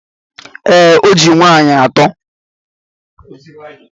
Ee, o ji nwaanyị atọ.